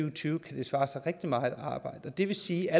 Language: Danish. og tyve kan det svare sig rigtig meget at arbejde det vil sige at